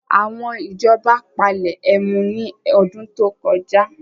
Àwọn ìjọba palẹ ẹmu ní ọdún tó kọjá